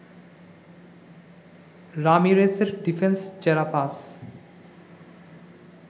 রামিরেসের defence চেরা pass